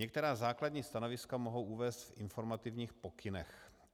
Některá základní stanoviska mohou uvést v informativních pokynech.